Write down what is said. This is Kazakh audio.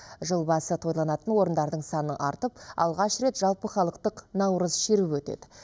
жыл басы тойланатын орындардың саны артып алғаш рет жалпыхалықтық наурыз шеруі өтеді